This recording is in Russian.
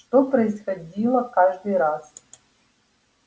что происходило каждый раз